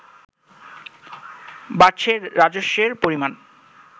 বাড়ছে রাজস্বের পরিমাণ